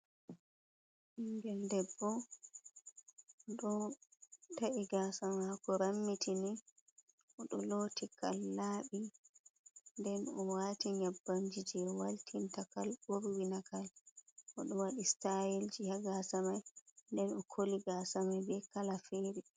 Ɓingel debbo, oɗo ta’i gasa mako rammitini, oɗo loti kal laɓi, nden owati nyabbanji je waltinta kal, ɓorwinta kal oɗo waɗi stayelji ha gasa mai, nden okoli gasa mai be kala fere.